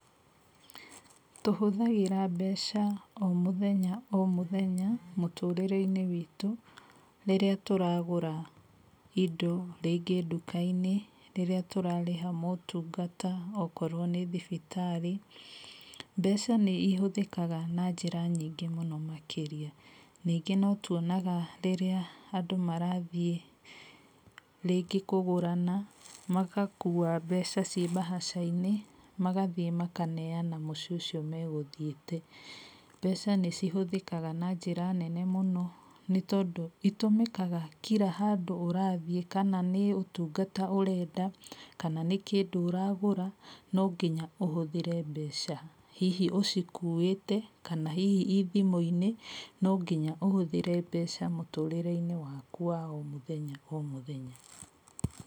Tũhũthagĩra mbeca o mũthenya o mũthenya mũtũrĩre-inĩ witũ, rĩrĩa tũragũra indo rĩngĩ nduka-inĩ, rĩrĩa tũrarĩha motungata okorwo nĩ thibitarĩ. Mbeca nĩihũthĩkaga na njĩra nyingĩ mũno makĩria. Ningĩ no tuonaga rĩrĩa andũ marathiĩ rĩngĩ kũgũrana, magakua mbeca ciĩ mbahaca-inĩ, magathiĩ makaneana mũciĩ ũcio megũthiĩte. Mbeca nĩcihũthĩaga na njĩra nene mũno nĩtondũ itũmĩkaga kira handũ ũrathiĩ kana nĩ ũtungata ũrenda kana nĩ kĩndũ ũragũra, no nginya ũhũthĩre mbeca. Hihi ũcikuĩte kana hihi i thimũ-inĩ, no nginya ũhũthĩre mbeca mũtũrĩre-inĩ waku wa o mũthenya o mũthenya.